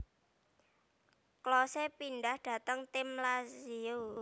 Klose pindhah dhateng tim Lazio